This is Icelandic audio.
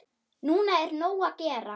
Núna er nóg að gera.